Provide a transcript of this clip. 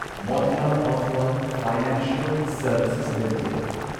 Motilal Oswal financial services limited